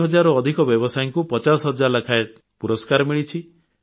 ଚାରି ହଜାରରୁ ଅଧିକ ବ୍ୟବସାୟୀଙ୍କୁ ପଚାଶ ହଜାର ଟଙ୍କା ଲେଖାଏଁ ପୁରସ୍କାର ମିଳିଛି